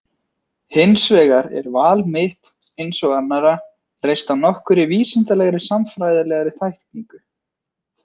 Hins vegar er val mitt, eins og annarra, reist á nokkurri vísindalegri, sagnfræðilegri, þekkingu.